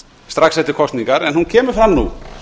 strax eftir kosningar en hún kemur það nú